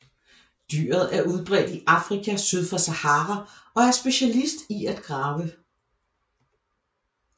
Dyret er udbredt i Afrika syd for Sahara og er specialist i at grave